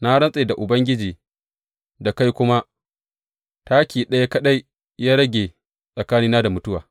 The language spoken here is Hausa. Na rantse da Ubangiji, da kai kuma, taki ɗaya kaɗai ya rage tsakanina da mutuwa.